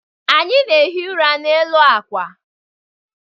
Anyị na-ehi ụra n'elu akwa.